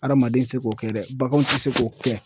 Adamaden tɛ se k'o kɛ dɛ baganw tɛ se k'o kɛ.